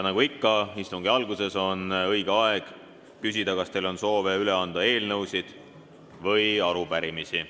Nagu ikka istungi alguses, on õige aeg küsida, kas teil on soovi üle anda eelnõusid või arupärimisi.